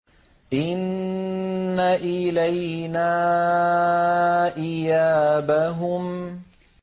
إِنَّ إِلَيْنَا إِيَابَهُمْ